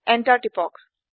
enter টিপক